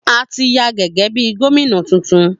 A tí yan gégé bí gómìnà titun